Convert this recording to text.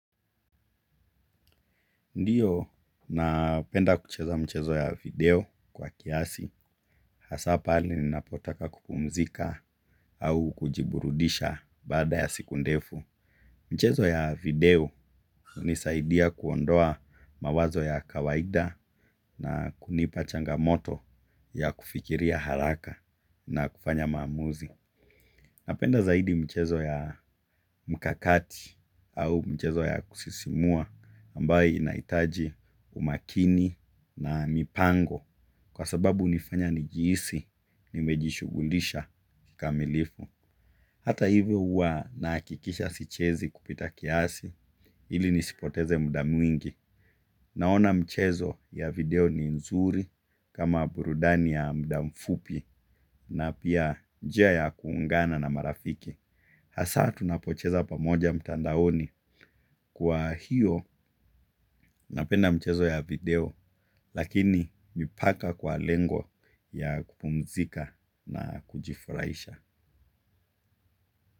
Ndiyo napenda kucheza mchezo ya video kwa kihasi. Hasa pale ninapotaka kupumzika au kujiburudisha baada ya siku ndefu. Mchezo ya video unisaidia kuondoa mawazo ya kawaida na kunipa changamoto ya kufikiria haraka na kufanya maamuzi. Napenda zaidi mchezo ya mkakati au mchezo ya kusisimua ambayo inaitaji umakini na mipango kwa sababu unifanya nijihisi nimejishugulisha kamilifu. Hata hivyo uwa nahakikisha sichezi kupita kiasi ili nisipoteze mdaa mwingi naona mchezo ya video ni nzuri kama burudani ya mdaa mfupi na pia njia ya kuungana na marafiki. Hasa tunapocheza pamoja mtandaoni kwa hiyo napenda mchezo ya video lakini mpaka kwa lengo ya kupumzika na kujifraisha.